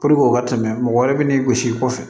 o ka tɛmɛ mɔgɔ wɛrɛ bi n'i gosi i kɔfɛ